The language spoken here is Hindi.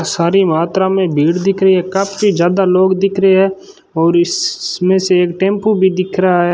सारी मात्रा में भीड़ दिख रही है काफी ज्यादा लोग दिख रहे है और इसमें से एक टेंपो भी दिख रहा है।